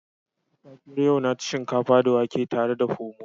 A safiyar yau na ci shinkafa da wake tare da Pomo